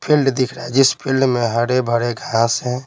Field दिख रहा है जिस फील्ड में हरे भरे घास है।